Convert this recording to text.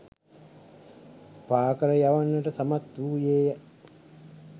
පාකර යවන්නට සමත් වූයේය.